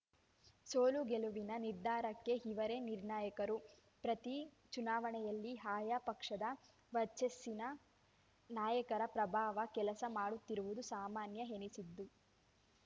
ಸೋಲುಗೆಲುವಿನ ನಿರ್ಧಾರಕ್ಕೆ ಇವರೇ ನಿರ್ಣಾಯಕರು ಪ್ರತಿ ಚುನಾವಣೆಯಲ್ಲಿ ಆಯಾ ಪಕ್ಷದ ವರ್ಚಸ್ಸಿನ ನಾಯಕರ ಪ್ರಭಾವ ಕೆಲಸ ಮಾಡುತ್ತಿರುವುದು ಸಾಮಾನ್ಯ ಎನಿಸಿದ್ದು